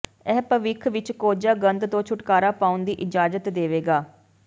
ਇਹ ਭਵਿੱਖ ਵਿੱਚ ਕੋਝਾ ਗੰਧ ਤੋਂ ਛੁਟਕਾਰਾ ਪਾਉਣ ਦੀ ਇਜਾਜ਼ਤ ਦੇਵੇਗਾ